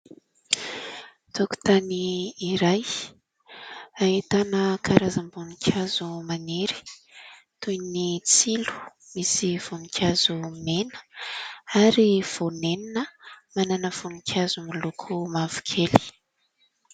Tokotany iray hahitana karazam-boninkazo maniry toy ny tsilo misy voninkazo mena ary vonenina manana voninkazo moloko mavokely.